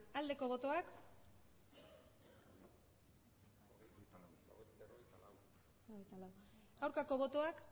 aldeko botoak aurkako botoak